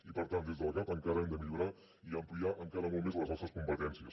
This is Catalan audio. i per tant des del gav encara hem de millorar i ampliar encara molt més les nostres competències